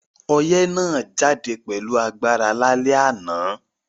Oyẹ́ náà jáde pẹ̀lu agbára lálẹ́ ànán